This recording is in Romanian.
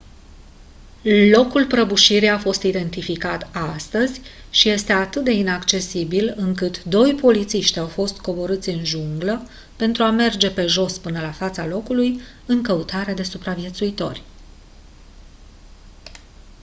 locul prăbușirii a fost identificat astăzi și este atât de inaccesibil încât doi polițiști au fost coborâți în junglă pentru a merge pe jos până la fața locului în căutare de supraviețuitori